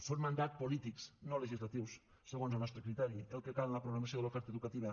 són mandats polítics no legislatius segons el nostre criteri el que cal en la programació de l’oferta educativa